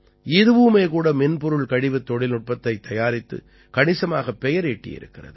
இதுவும் கூட மின்பொருள் கழிவுத் தொழில்நுட்பத்தைத் தயாரித்து கணிசமாகப் பெயர் ஈட்டியிருக்கிறது